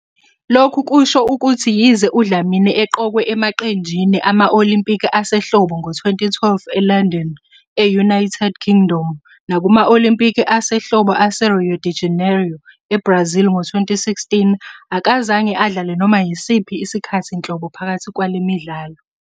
Lokhu kusho ukuthi yize uDlamini eqokwe emaqenjini ama- Olimpiki Asehlobo ngo- 2012 eLondon, e-United Kingdom, nakuma- Olimpiki Asehlobo aseRio de Janeiro, eBrazil ngo-2016, akazange adlale noma yisiphi isikhathi nhlobo phakathi kwale midlalo.